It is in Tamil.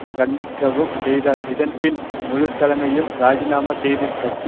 கண்டிக்கவும் செய்தார் இதன்பின் முழு தலைமையும் இராஜிநாமா செய்து கட்சி